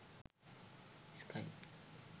sky